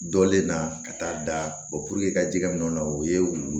Dɔlen na ka taa da ka ji min o la o ye